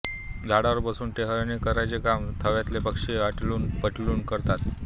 झाडावर बसून टेहळणी करण्याचे काम थव्यातले पक्षी आलटून पालटून करतात